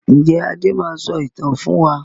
Ǹjẹ́ Adé máa sọ ìtàn fún wa?